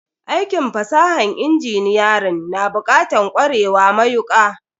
Aikin fasahan inginiyarin na bukatan kwarewa mayuka